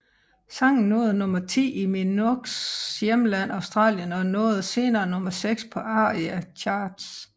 Sangen nåede nummer ti i Minogues hjemland Australien og nåede senere nummer seks på ARIA Charts